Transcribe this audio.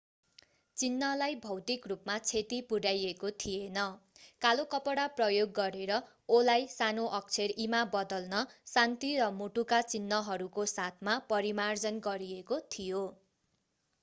चिन्हलाई भौतिक रूपमा क्षति पुर्‍याइएको थिएन; कालो कपडा प्रयोग गरेर o”लाई सानो अक्षर e” मा बदल्न शान्ति र मुटुका चिन्हहरूको साथमा परिमार्जन गरिएको थियो।